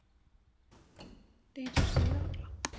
Þeytist um þig allan.